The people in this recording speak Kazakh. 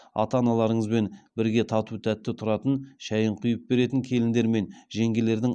ата аналарыңызбен бірге тату тәтті тұратын шәи ін құи ып беретін келіндер мен жеңгелерден